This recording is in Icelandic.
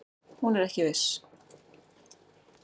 Hún er ekki viss.